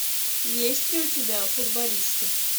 есть ли у тебя футболисты